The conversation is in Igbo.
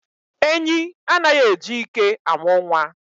Enyi anaghị e ji ike amụ nwa.